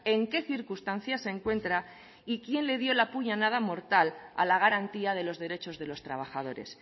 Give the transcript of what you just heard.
en qué circunstancias se encuentra y quién le dio la puñalada mortal a la garantía de los derechos de los trabajadores